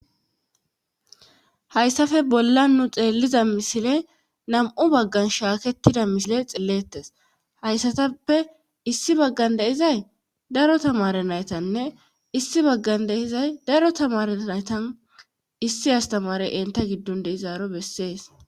hayssafe bolla nu xeelliza misile nam7u baggan shaakettida misile xillettes hayssatappe issi baggan deizay daro tamare naytanne issi baggan deizay daro tamare naytan issi astamare enta giddon deizaaro bessees